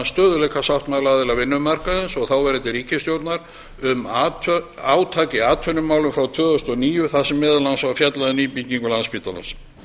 stöðugleikasáttmála aðila vinnumarkaðarins og þáverandi ríkisstjórnar um átak í atvinnumálum frá tvö þúsund og níu þar sem meðal annars var fjallað um nýbyggingu landspítalans